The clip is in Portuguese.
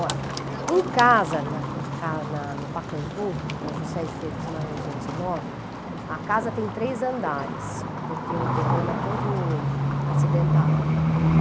Olha, em casa, na ca na no Pacaembu, na Jussé de Freitas e Maranhão duzentos e dezenove, a casa tem três andares, porque o terreno é todo acidentado no Pacaembu.